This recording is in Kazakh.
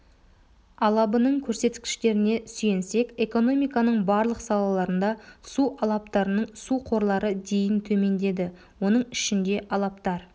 алабының көрсеткіштеріне сүйенсек экономиканың барлық салаларында су алаптарының су қорлары дейін төмендеді оның ішінде алаптар